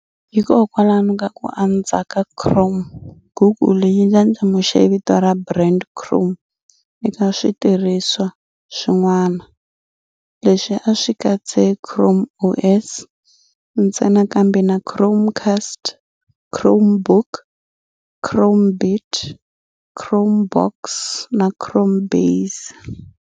Hikwalaho ka ku andza ka Chrome, Google yi ndlandlamuxe vito ra brand ra "Chrome" eka switirhisiwa swin'wana. Leswi a swi katsi ChromeOS ntsena kambe na Chromecast, Chromebook, Chromebit, Chromebox na Chromebase.